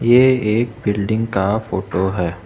यह एक बिल्डिंग का फोटो है।